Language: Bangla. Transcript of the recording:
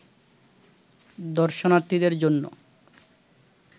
দর্শনার্থীদের জন্য